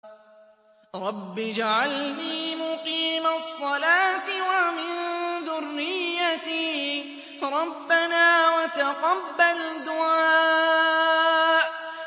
رَبِّ اجْعَلْنِي مُقِيمَ الصَّلَاةِ وَمِن ذُرِّيَّتِي ۚ رَبَّنَا وَتَقَبَّلْ دُعَاءِ